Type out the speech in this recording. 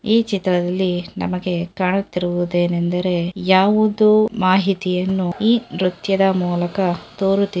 ಈ ಚಿತ್ರದಲ್ಲಿ ನಮಗೆ ಕಾಣುತ್ತಿರುವುದೇನೆಂದರೆ ಯಾವುದೊ ಮಾಹಿತಿಯನ್ನು ಈ ನೃತ್ಯದ ಮೂಲಕ ತೋರುತ್ತಿ--